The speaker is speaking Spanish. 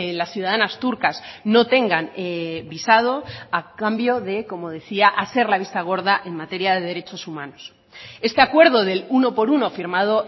las ciudadanas turcas no tengan visado a cambio de como decía hacer la vista gorda en materia de derechos humanos este acuerdo del uno por uno firmado